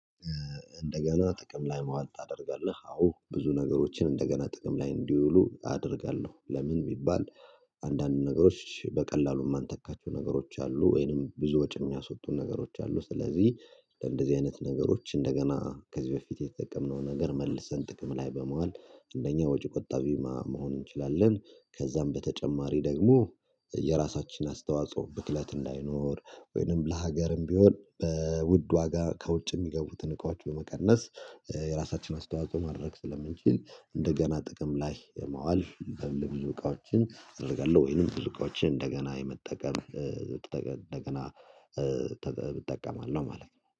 እንደገና ጥቅም ላይ መዋጥ ታደርጋለህ አዎ ብዙ ነገሮችን እንደገና ጥቅም ላይ እንዲውሉ አደርጋለሁ ለምን ቢባል? አንዳንድ ነገሮች በቀላሉ የማንተካቸው ነገሮች አሉ ወይንም ብዙ ወጪ የሚያስወጡ ነገሮች አሉ ስለዚህ እንደዚህ አይነት ነገሮች እንደገና ከዚህ በፊት የተጠቀምነው ነገር መልሰን ጥቅም ላይ በመዋል እንደኛ ወጪ ቆጣቢ መሆን እንችላለን። ከዛም በተጨማሪ ደግሞ የራሳችን አስተዋጽኦ ብክለት ላይኖር ወይንም ለሀገርም ቢሆን በውድ ዋጋ ከውጭ የሚገቡትን እቃዎች በመቀነስ የራሳችንን አስተዋጽኦ ማድረግ ስለምንችል እንደገና ጥቅም ላይ የማዋል የብዙ እቃዎችን እደርጋለሁ ወይንም ብዙ እቃዎችን እንደገና የመጠቀም እንደገና እንደገና እንጠቀማለን ማለት ነው